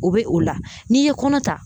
O bɛ o la n'i ye kɔnɔ ta